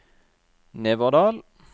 Neverdal